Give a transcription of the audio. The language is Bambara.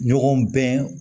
Ɲɔgɔn bɛn